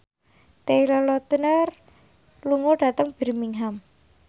Taylor Lautner lunga dhateng Birmingham